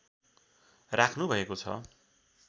राख्नुभएको छ